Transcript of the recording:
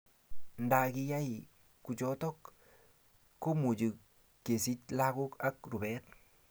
Nda kiyai kuchotok komuchi kesich lagok ak rupet